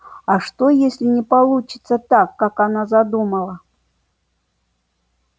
а что если не получится так как она задумала